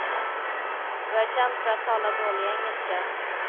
Du är känd för att tala dålig engelska.